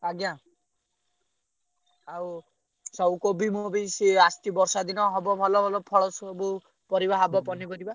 ଆଜ୍ଞା ଆଉ ସବୁ କୋବି ମୋବି ସିଏ ଆସଚି ବର୍ଷା ଦିନ ହବ ଭଲ ଭଲ ଫଳ ସବୁ ପରିବା ହବ ପନିପରିବା।